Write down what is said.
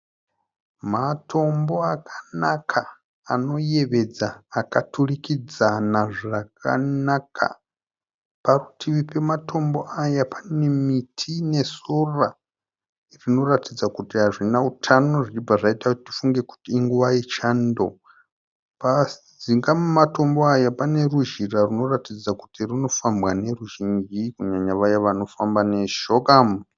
Matombo akanaka anoyevedza akaturikidzana zvakanaka. Parutivi pematombo aya pane miti nesora, zvinoratidza kuti hazvina utano, Zvichibva zvaita kuti tifunge kuti inguva yechando. Pajinga mematombo aya pane ruzhira rwunoratidza kuti rinofambwa neruzhinji kunyanya vaye vanofamba neshoka.